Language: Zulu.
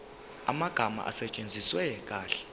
amagama asetshenziswe kahle